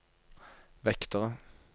vektere